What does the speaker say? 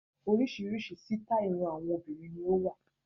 Oríṣiríṣi sitai irun àwọn obìnrin ni ó wà.